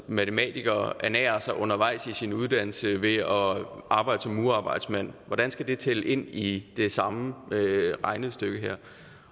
matematiker ernærer sig undervejs i sin uddannelse ved at arbejde som murerarbejdsmand hvordan skal det tælle ind i det samme regnestykke